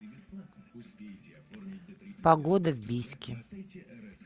погода в бийске